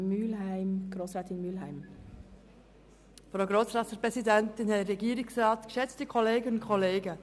Der nächste Rückweisungsantrag wird von Grossrätin Mühlheim erläutert.